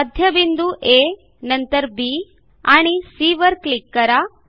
मध्यबिंदू आ नंतर बी आणि सी वर क्लिक करा